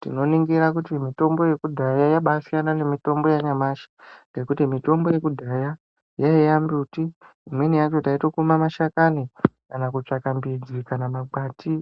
tinoningira kuti mitombo Yekudhuya yabasiyana nemitombo yanyamashi ngekuti mitombo yekudhaya yaiva mbuti imweni yacho taikuma mashakani kana kutsvaka mbidzi kana makwati.